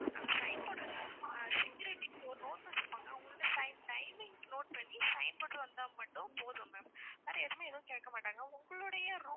sign போடுற security ஒரு note வச்சிருப்பாங்க அவங்க கிட்ட sign timing note பண்ணி sign போட்டு வந்தா மட்டும் போதும் ma'am வேற எதுவுமே எதுவும் கேக்கமாட்டாங்க உங்களுடைய room